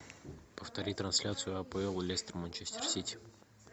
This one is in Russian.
повтори трансляцию апл лестер манчестер сити